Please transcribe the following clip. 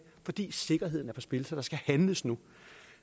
fordi sikkerheden er på spil så der skal handles nu